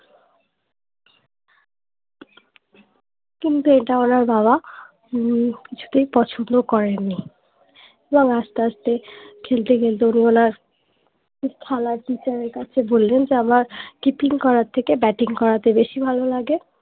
কিন্তু এটা ওনার বাবা হম কিছুতেই পছন্দ করেননি এবং আস্তে আস্তে খেলতে খেলতে উনি ওনার খেলার teacher এর কাছে বললেন যে আমার keeping করার থেকে batting করাতে বেশি ভালো লাগে